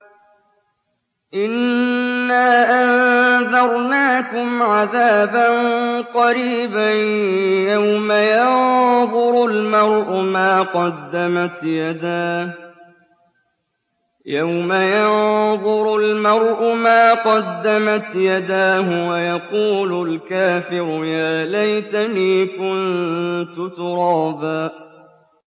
إِنَّا أَنذَرْنَاكُمْ عَذَابًا قَرِيبًا يَوْمَ يَنظُرُ الْمَرْءُ مَا قَدَّمَتْ يَدَاهُ وَيَقُولُ الْكَافِرُ يَا لَيْتَنِي كُنتُ تُرَابًا